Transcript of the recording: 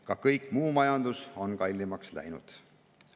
Ka kogu muu majandus on kallimaks läinud.